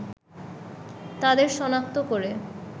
তাদের সনাক্ত করে